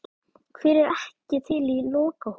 Hver er ekki til í lokahóf?